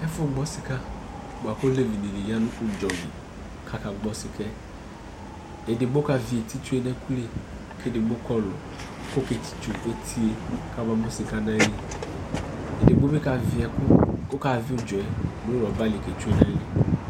Ɛfʋ gbɔ sika, bʋa kʋ olevi dιnι ya nʋ ʋdzɔ li kʋ aka gbɔ sika yɛ Edigbo ka vι eti tsyue nʋ ɛkʋ li, kʋ edigbo kɔ ɔlʋ kʋ ɔke tsitso eti yɛ kʋ aba mʋ sika nʋ ayili Edigbo bι kavι ɛkʋ, ɔka vι ʋdzɔ yɛ nʋ rɔba li kee tsyue nʋ ayili